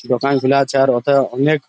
দোকান খুলা চার হথা অনেক --